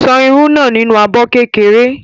Ṣan irú náà nínú abọ́ kékeré.